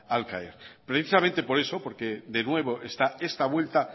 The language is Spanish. al caer precisamente por eso porque de nuevo está esta vuelta